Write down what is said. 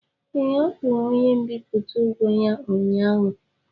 Ee, ọ kwụrụ onye mbipụta ụgwọ ya ụnyaahụ.